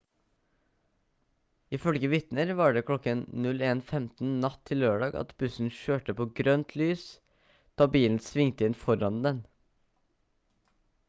ifølge vitner var det kl. 01:15 natt til lørdag at bussen kjørte på grønt lys da bilen svingte inn foran den